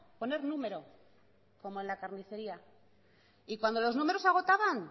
poner número como en la carnicería y cuando los números se agotaban